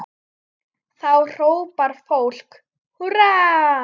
Þá hrópar fólk húrra.